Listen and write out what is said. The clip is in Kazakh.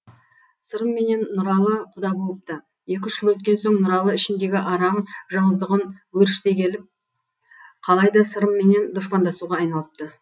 сырым менен нұралы құда болыпты екі үш жыл өткен соң нұралы ішіндегі арам жауыздығын өршіте келіп қалай да сырымменен дұшпандасуға айналыпты